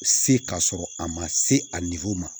Se ka sɔrɔ a ma se a ma